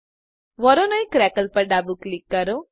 Voronoi crackle પર ડાબું click કરો